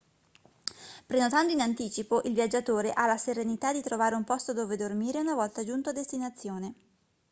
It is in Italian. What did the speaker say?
prenotando in anticipo il viaggiatore ha la serenità di trovare un posto dove dormire una volta giunto a destinazione